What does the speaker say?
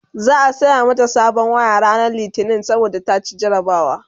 za'a saya mata sabon waya ranar litini saboda ta ci jarabawa